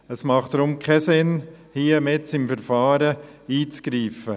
Deshalb macht es keinen Sinn, jetzt hier mitten im Verfahren einzugreifen.